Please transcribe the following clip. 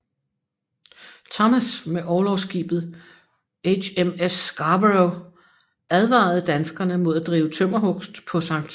Thomas med orlogsskibet HMS Scarborough og advarede danskerne mod at drive tømmerhugst på Skt